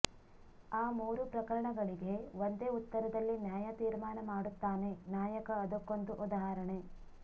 ಆ ಮೂರೂ ಪ್ರಕರಣಗಳಿಗೆ ಒಂದೇ ಉತ್ತರದಲ್ಲಿ ನ್ಯಾಯ ತೀರ್ಮಾನ ಮಾಡುತ್ತಾನೆ ನಾಯಕ ಅದಕ್ಕೊಂದು ಉದಾಹರಣೆ